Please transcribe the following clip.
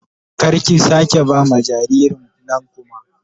Kar ki sake ba ma jaririn nan kuma